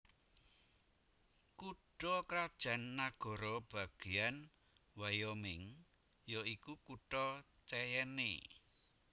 Kutha krajan nagara bagéyan Wyoming ya iku kutha Cheyenne